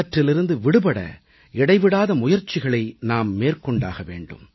இவற்றிலிருந்து விடுபட இடைவிடாத முயற்சிகளை நாம் மேற்கொண்டாக வேண்டும்